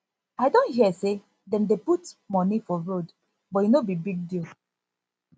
i don hear say dem dey put money for road but e no be big deal